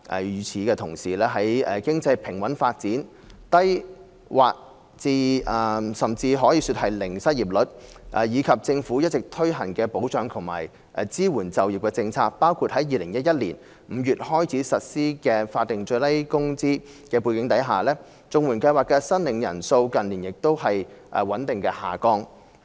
與此同時，在經濟平穩發展，失業率之低可說是全民就業，以及政府一直推行保障及支援就業政策——包括2011年5月起實施的法定最低工資——的背景下，綜援計劃的申領人數近年亦穩步下降。